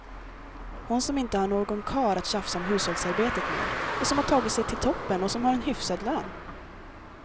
Hon som inte har någon karl att tjafsa om hushållsarbetet med, som har tagit sig till toppen och som har en hyfsad lön.